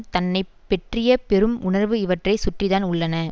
தன்னை பெற்றிய பெரும் உணர்வு இவற்றை சுற்றித்தான் உள்ளன